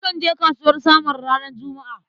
Nakan je kasuwar Samaru ranar Juma'a.